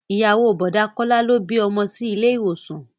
Ìyàwó o Bọ̀dá Kọ́lá ló bí ọmọ sí ilé ìwòsàn